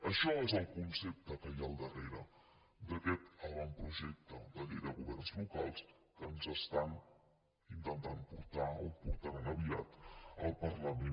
això és el concepte que hi ha al darrere d’aquest avantprojecte de llei de governs lo·cals que ens estan intentant portar o portaran aviat al parlament